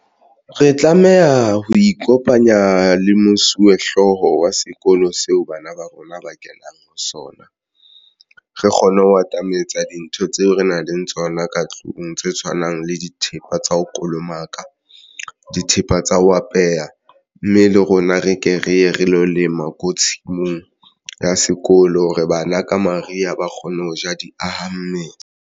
Re tlameha ho ikopanya le mosuwehlooho wa sekolo seo bana ba rona ba kenang ho sona. Re kgone ho atametsa dintho tseo re nang le tsona ka tlung tse tshwanang le dithepa tsa ho kolomaka dithepa tsa ho apeya, mme le rona re ke re ye re lo lema ko tshimong ya sekolo re bana ka mariha ba kgone ho ja di aha mmele.